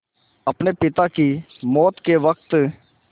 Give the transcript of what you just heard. अपने पिता की मौत के वक़्त